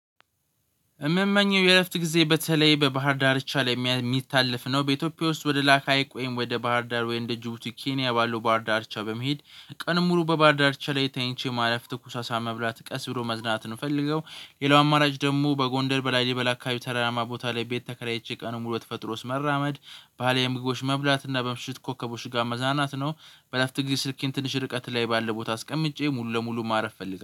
የምመኘው የእረፍት ጊዜ በተለይ በባህር ዳርቻ ላይ የሚታለፍ ነው በኢትዮጵያ ውስጥ ወደላካ ሀይቅ ወይም ወደ ባህርዳር ወይም እንደ ጅቡቲ ኬንያ ባሉ ባህር ዳርቻ በመሄድ ቀን ሙሉ በባርዳርቻ ላይ ተኝቼ ማለፍ ትኩስ አሳ መብላት ቀስ ብሎ መዝናናትን ነው ምፈልገው። ሌላው አማራጭ ደግሞ በጎንደር በላሊበላ አካባቢ ተራራማ ቦታ ላይ ቤት ተከራይቼ ቀኑን ሙሉ ተፈጥሮ ውስጥ መራመድ ባህላዊ ምግቦች መብላት እና በምሽት ኮከቦች ጋር መዝናናት ነው። በእረፍት ጊዜ ስልኬን ትንሽ ርቀት ላይ ባለ ቦታ አስቀምጬ ሙሉ ለሙሉ ማረፍ እፈልጋለሁ